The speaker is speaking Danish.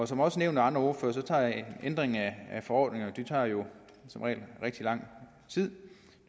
som også nævnt af andre ordførere tager ændringer af forordninger jo som regel rigtig lang tid